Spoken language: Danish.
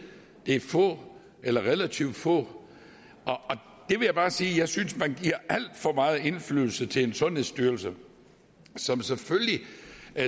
er få eller relativt få jeg vil bare sige at jeg synes at man giver alt for meget indflydelse til sundhedsstyrelsen som selvfølgelig